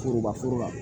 Foroba foro la